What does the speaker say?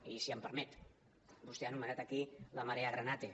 i si m’ho permet vostè ha anomenat aquí la marea granate